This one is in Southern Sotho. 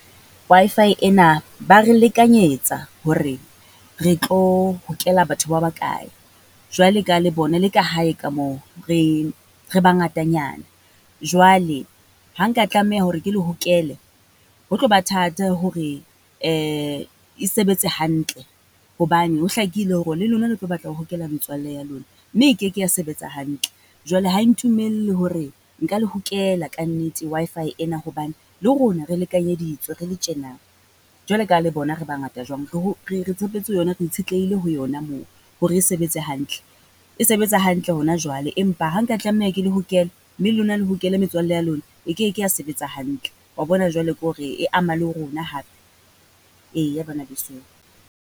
Wi-Fi ena ba re lekanyetsa hore re tlo hokela batho ba ba kae. Jwale ka ha le bona le ka hae ka moo, re re bangatanyana. Jwale ha nka tlameha hore ke le hokele, ho tlo ba thata hore e sebetse hantle, hobane ho hlakile hore le lona le tlo batla ho hokela metswalle ya lona mme e keke ya sebetsa hantle. Jwale ha e ntumelle hore nka le hokela ka nnete Wi-Fi ena hobane le rona re lekanyeditswe re le tjena. Jwale ka ha le bona re bangata jwang, re re re tshepetse ho yona, re itshetlehile ho yona mo hore e sebetse hantle. E sebetsa hantle hona jwale, empa ha nka tlameha ke lehokela mme lona le metswalle ya lona, e keke ya sebetsa hantle. Wa bona jwale ke hore e ama le rona hape, eya bana besong.